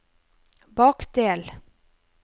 bakdel